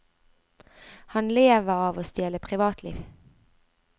Han lever av å stjele privatliv.